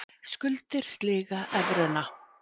Skuldir sliga evruna